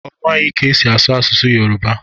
Ọ maghị ka-esi asụ asụsụ Yoroba